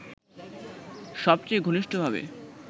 সবচেয়ে ঘনিষ্ঠভাবে